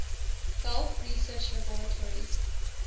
gulf research laboratories